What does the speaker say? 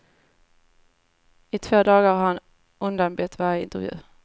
I två dagar har han undanbett varje intervju.